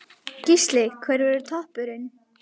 Gísli: Hver verður toppurinn?